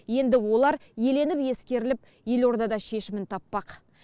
енді олар еленіп ескеріліп елордада шешімін таппақ